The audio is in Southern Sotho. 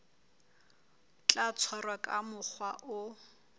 tla tshwarwa ka mokgwa o